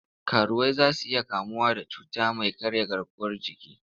Karuwai za su iya kamuwa da cuta mai karya garkuwar jiki.